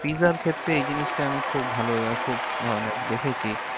Pizza র ক্ষেত্রে এই জিনিসটা আমি খুব ভালো খুব মানে দেখেছি।